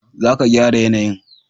za ka gyara yanayin